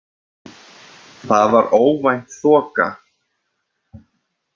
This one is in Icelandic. Þar var óvænt þoka.